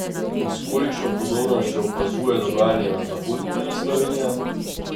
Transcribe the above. In s kolikšno pozornostjo opazuje dogajanje na zahodni meji Slovenija?